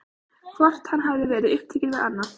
Hvort hann hafi verið upptekinn við annað?